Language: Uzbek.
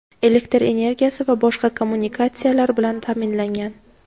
elektr energiyasi va boshqa kommunikatsiyalar bilan ta’minlangan.